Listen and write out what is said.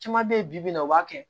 Caman bɛ yen bibi in na o b'a kɛ